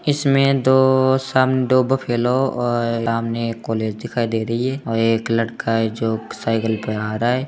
इसमे दो साम दो बफलो और सामने एक कॉलेज दिखाई दे रही है और एक लड़का है जो एक साइकिल पे आ रहा है।